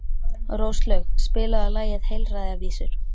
Róslaug, spilaðu lagið „Heilræðavísur“.